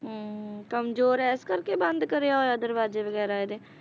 ਹਮ ਕਮਜ਼ੋਰ ਏ ਇਸ ਕਰਕੇ ਬੰਦ ਕਰਿਆ ਹੋਇਆ ਦਰਵਾਜੇ ਵਗੈਰਾ ਇਹਦੇ?